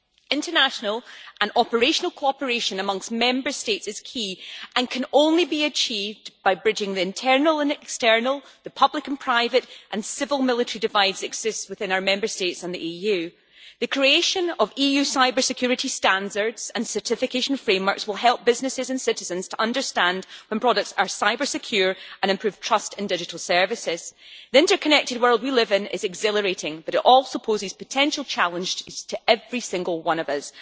International and operational cooperation amongst Member States is key, and can only be achieved by bridging the divides between the internal and external, the public and private and the civil and military that exist within our Member States and the EU. The creation of EU cybersecurity standards and certification frameworks will help businesses and citizens to understand when products are cybersecure and improve trust in digital services. The interconnected world we live in is exhilarating, but it also poses potential challenges to every single one of us.